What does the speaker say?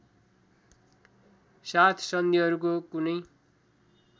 साथ सन्धिहरूको कुनै